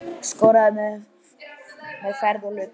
Skorður á meðferð hluta.